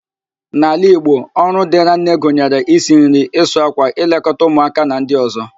N'ala Igbo, ọrụ dịrị nne gụnyere: isi nri, ịsụ ákwà, ịlekọta ụmụáká na ndị ọ̀zọ́